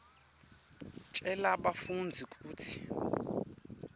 tjela bafundzi kutsi